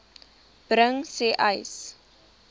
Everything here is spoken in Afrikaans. bring sê uys